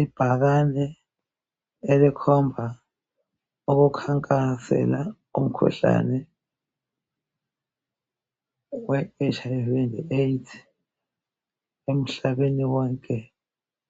Ibhakane elikhomba ukukhankasela imikhuhlane we HlV le AIDS umhlaba wonke